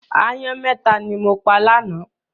Aáyán mẹ́ta ni mo pa lánàá.